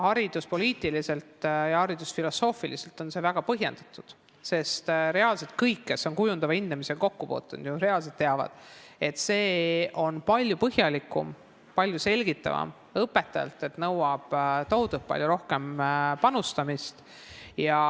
Hariduspoliitiliselt ja haridusfilosoofiliselt on see väga põhjendatud, sest kõik, kes on kujundava hindamisega kokku puutunud, teavad, et see on palju põhjalikum, palju selgitavam ning nõuab õpetajalt tohutult palju rohkem panustamist.